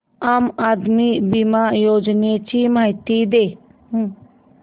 आम आदमी बिमा योजने ची माहिती दे